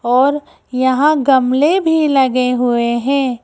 और यहां गमले भी लगे हुए हैं।